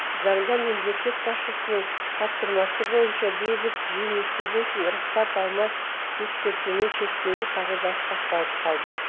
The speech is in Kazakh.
заңда мемлекет басшысының тапсырмасы бойынша бейбіт жиын өткізу үшін рұқсат алмай ескертумен шектелу қағидасы сақталып қалды